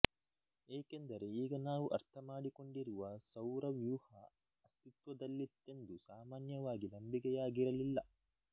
ಏಕೆಂದರೆ ಈಗ ನಾವು ಅರ್ಥಮಾಡಿಕೊಂಡಿರುವ ಸೌರವ್ಯೂಹ ಅಸ್ತಿತ್ವದಲ್ಲಿತ್ತೆಂದು ಸಾಮಾನ್ಯವಾಗಿ ನಂಬಿಕೆಯಾಗಿರಲಿಲ್ಲ